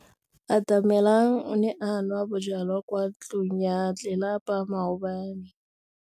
Atamelang o ne a nwa bojwala kwa ntlong ya tlelapa maobane.